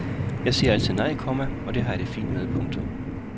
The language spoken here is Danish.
Jeg siger altid nej, komma og det har jeg det fint med. punktum